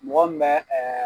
Mɔgɔ mun mɛ